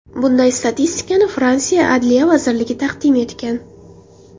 Bunday statistikani Fransiya adliya vazirligi taqdim etgan.